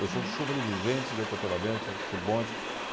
Eu sou um sobrevivente de atropelamento por bonde.